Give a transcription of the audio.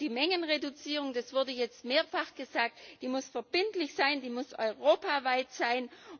Die Mengenreduzierung das wurde jetzt mehrfach gesagt muss verbindlich sein, sie muss europaweit sein.